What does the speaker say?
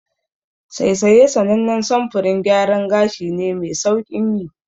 Saisaye sanannen samfurin gyaran gashi ne me sauƙin yi.